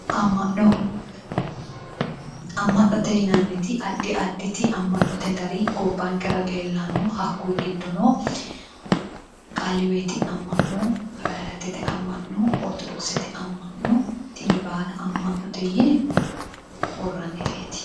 Ama'no, ama'note yinnanniti addi additi ama'note gari gobbankera leellano hakkuyi giddono kalihiwoyiti ama'no ,hawariyatete ama'no, orthodokisete ama'no, tini baalla ama'note yinne worranireti.